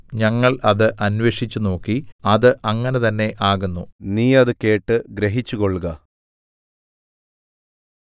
ഞങ്ങൾ അത് അന്വേഷിച്ചുനോക്കി അത് അങ്ങനെ തന്നെ ആകുന്നു നീ അത് കേട്ട് ഗ്രഹിച്ചുകൊള്ളുക